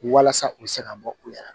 Walasa u bɛ se ka bɔ u yɛrɛ